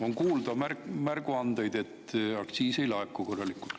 On kuulda märguandeid, et aktsiis ei laeku korralikult.